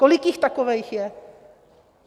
Kolik jich takových je?